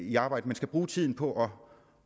i arbejde men skal bruge tiden på